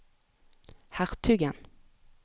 hertugen